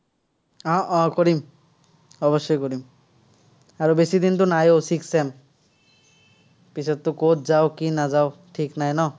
উম উম কৰিম। অৱশ্যেই কৰিম। আৰু বেছিদিনতো নাইও, sixth sem পিছততো কত যাঁও, কি নাযাঁও, ঠিক নাই ন?